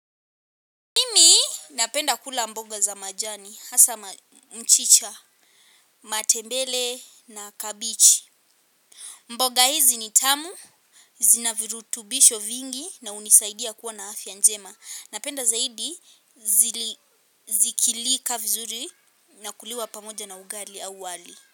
Mimi, napenda kula mboga za majani, hasa mchicha, matembele na kabichi. Mboga hizi ni tamu, zina virutubisho vingi na unisaidia kua na afya njema. Napenda zaidi, zikilika vizuri na kuliwa pamoja na ugali au wali.